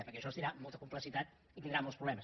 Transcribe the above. perquè això tindrà molta complexitat i tindrà molts problemes